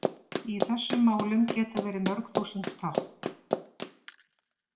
Í þessum málum geta verið mörg þúsund tákn.